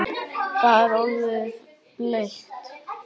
Það er orðið bleikt!